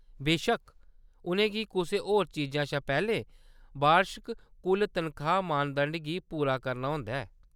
बेशक्क, उʼनें गी कुसै होर चीजा शा पैह्‌‌‌लें बार्शक कुल तनखाह्‌‌ मानदंड गी पूरा करना होंदा ऐ।